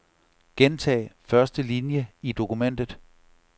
Gentag første linie i dokumentet.